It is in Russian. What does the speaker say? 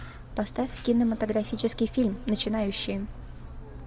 поставь кинематографический фильм начинающие